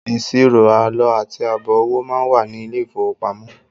Ìṣirò àlọ àti àbọ̀ owó máa wà ní ilé ìfowópamọ́